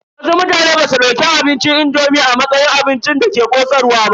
Wasu mutane basu dauki taliyar indomi a matsayin abincin da ke ƙosarwa ba.